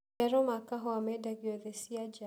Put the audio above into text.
Maciaro ma kahũa mendagio thĩĩ cia nja